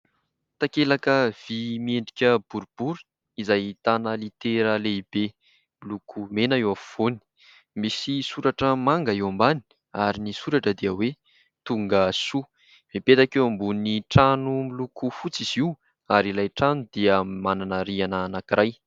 Takelaka vy miendrika boribory izay ahitana litera lehibe miloko mena eo afovoany, misy soratra manga eo ambany ary ny soratra dia hoe tonga soa mipetaka eo ambonin'ny trano, miloko fotsy izy io ary ilay trano dia manana rihana anankiray.